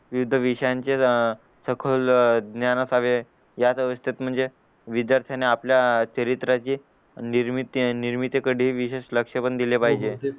विविध विषयांचे अह सखोल अह ज्ञानाचा याच अवस्थेत म्हणजे विध्यार्थ्यानी आपल्या चरित्राची निर्मिती निर्मिती कडे विशेष लक्ष पण दिले पाहिजे